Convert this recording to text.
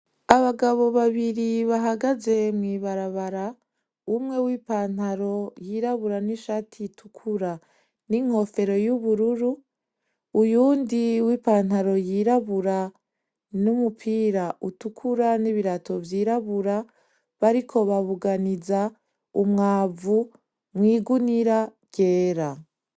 Abagabo babiri bahagaze mw’ibarabara. Umwe wipantaro yirabura n’ishati itukura n’inkofero y’ubururu. Uyundi w'ipantaro yirabura n’umupira utukura n’ibirato vyirabura. Bariko babuganiza umwavu mw'igunira ryera.